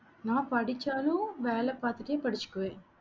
நான் படிச்சாலும் வேலை பார்த்துட்டே படிச்சுக்குவேன்.